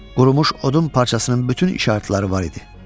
Qurumuş odun parçasının bütün işarətləri var idi.